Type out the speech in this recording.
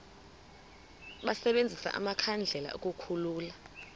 basebenzise amakhandlela ukukhulula